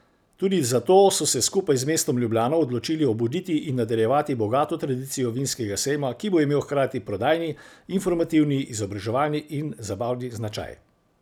Tudi zato so se skupaj z mestom Ljubljana odločili obuditi in nadaljevati bogato tradicijo vinskega sejma, ki bo imel hkrati prodajni, informativni, izobraževalni in zabavni značaj.